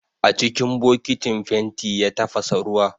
A cikin bokitin fenti ya tafasa ruwa